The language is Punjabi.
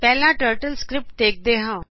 ਪਹਿਲਾ ਟਰਟਲਸਕਰੀਪਟ ਦੇਖਦੇ ਹਾਂ